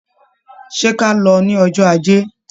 Ṣé ka lọ ní ọjọ́ Ajé?